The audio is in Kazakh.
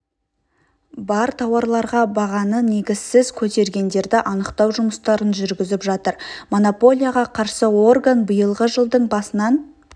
бар тауарларға бағаны негізсіз көтергендерді анықтау жұмыстарын жүргізіп жатыр монополияға қарсы орган биылғы жылдың басынан